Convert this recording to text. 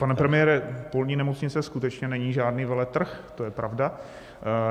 Pane premiére, polní nemocnice skutečně není žádný veletrh, to je pravda.